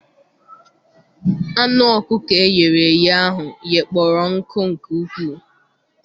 Anụ ọkụkọ eghere eghe ahụ ghekpọrọ nkụ nke ukwuu.